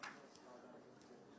Adətən heç bir oyunçu.